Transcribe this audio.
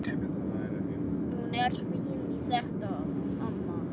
Hún er fín í þetta hún amma.